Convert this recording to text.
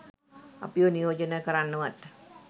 අපිව නියෝජනය කරන්නවත්